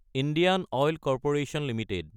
Indian oil corporation Ltd